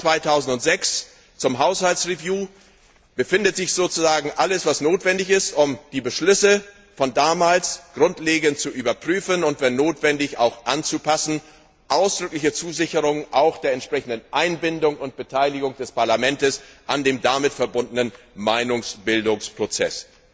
17. Mai 2006 zur Haushaltsüberprüfung befindet sich sozusagen alles, was notwendig ist, um die Beschlüsse von damals grundlegend zu überprüfen und, wenn notwendig, auch anzupassen, auch die ausdrückliche Zusicherung der entsprechenden Einbindung und Beteiligung des Parlaments an dem damit verbundenen Meinungsbildungsprozess.